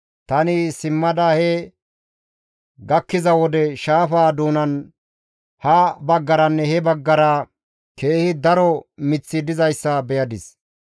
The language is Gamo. Tani simmada he gakkiza wode, shaafaza doonan ha baggaranne he baggara keehi daro miththi dizayssa beyadis.